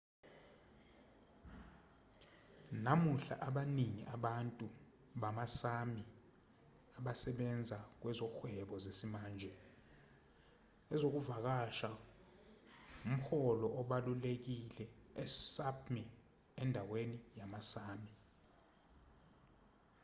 namuhla abaningi abantu bama-sámi abasebenza kwezohwebo zesimanje. ezokuvakasha ngumholo obalulekile e-sápmi endaweni yama-sámi